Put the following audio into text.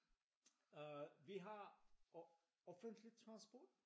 Øh vi har offentlig transport